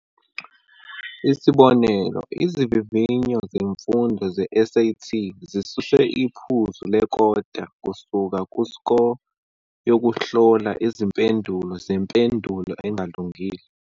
Isibonelo, izivivinyo zesifundo se-SAT zisuse iphuzu lekota kusuka ku-Score yokuhlola izimpendulo zempendulo engalungile.